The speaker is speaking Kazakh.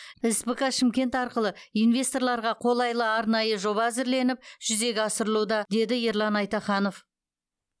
спк шымкент арқылы инвесторларға қолайлы арнайы жоба әзірленіп жүзеге асырылуда деді ерлан айтаханов